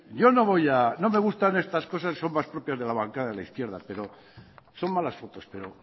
yo no voy no me gustan estas cosas son más propias de la bancada de la izquierda pero son malas fotos pero